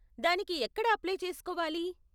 దానికి ఎక్కడ అప్లై చేసుకోవాలి?